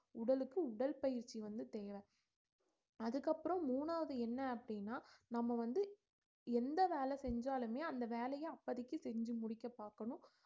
உடலுக்கு உடல்பயிற்சி வந்து தேவை அதுக்கப்புறம் மூணாவது என்ன அப்படீன்னா நம்ம வந்து எந்த வேலை செஞ்சாலுமே அந்த வேலைய அப்போதைக்கு செஞ்சு முடிக்க பாக்கணும்